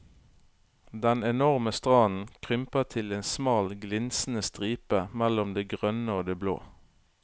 Den enorme stranden krymper til en smal glinsende stripe mellom det grønne og det blå.